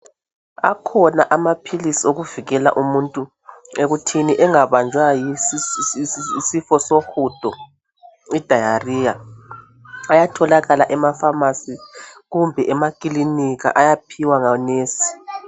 Akhona amaphilisi avikela umuntu ekuthini engabanja yisifo sohudo idariya ayatholakala ema pharmarcy kumbe ekilinika ayaphiwa ngo nesi.